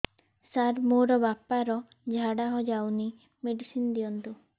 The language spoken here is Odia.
ସାର ମୋର ବାପା ର ଝାଡା ଯାଉନି ମେଡିସିନ ଦିଅନ୍ତୁ